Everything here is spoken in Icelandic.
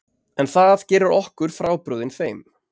En það gerir okkur frábrugðin þeim